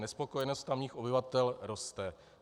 Nespokojenost tamních obyvatel roste.